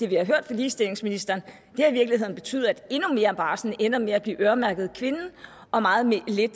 vi har hørt fra ligestillingsministeren har i virkeligheden betydet at endnu mere af barslen ender med at blive øremærket kvinden og meget lidt